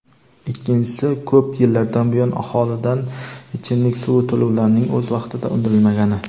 ikkinchisi ko‘p yillardan buyon aholidan ichimlik suvi to‘lovlarining o‘z vaqtida undirilmagani.